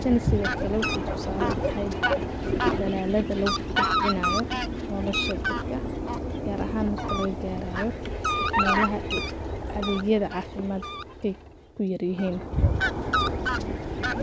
Tani sidoo kale waxay tusaale u tahay dalaalada loo kobcinayo nolosha dadka gaar ahaan markii laga gaarayo meelaha adeegyada caafimaad kay ku yaryihiin.